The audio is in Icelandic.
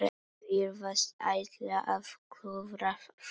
Virðast ætla að klúðra því.